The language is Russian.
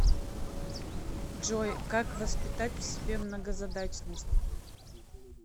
джой как воспитать в себе многозадачность